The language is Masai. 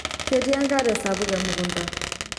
ketii enkare sapuk emukunta